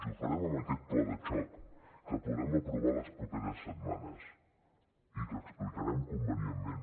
i ho farem amb aquest pla de xoc que podrem aprovar les properes setmanes i que explicarem convenientment